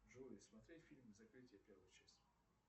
джой смотреть фильм закрытие первая часть